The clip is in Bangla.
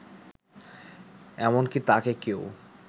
এমনকি তাকে কেউ